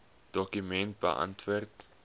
dokument beantwoord